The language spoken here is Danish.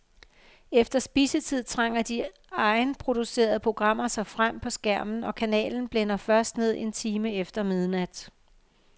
Efter spisetid trænger de egenproducerede programmer sig frem på skærmen, og kanalen blænder først ned en time efter midnat.